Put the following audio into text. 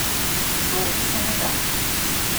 To se ne da!